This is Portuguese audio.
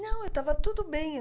Não, eu estava tudo bem.